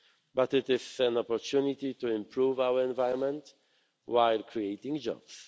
but also an opportunity to improve our environment, while creating